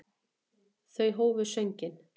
Þau hófu sönginn.